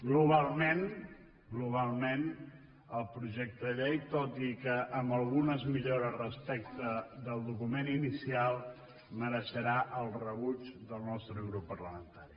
globalment globalment el projecte de llei tot i que amb algunes millores respecte del document inicial mereixerà el rebuig del nostre grup parlamentari